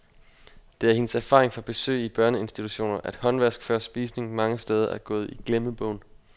Det er hendes erfaring fra besøg i børneinstitutioner, at håndvask før spisning mange steder er gået i glemmebogen.